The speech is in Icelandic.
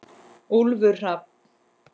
Úlfur Hrafn.